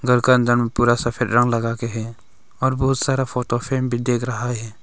घर का अंदर में पूरा सफेद रंग लगा के हैं और बहुत सारा फोटो फ्रेम भी दिख रहा है।